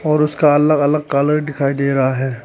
और इसका अलग अलग कलर दिखाई दे रहा है।